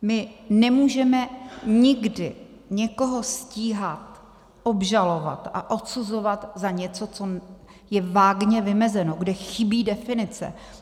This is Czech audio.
My nemůžeme nikdy někoho stíhat, obžalovat a odsuzovat za něco, co je vágně vymezeno, kde chybí definice.